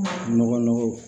Nɔgɔ nɔgɔ